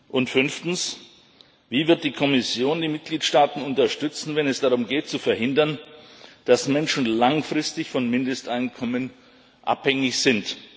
Und fünftens Wie wird die Kommission die Mitgliedstaaten unterstützen, wenn es darum geht zu verhindern, dass Menschen langfristig von Mindesteinkommen abhängig sind?